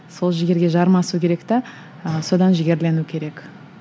сол жігерге жармасу керек те ы содан жігерлену керек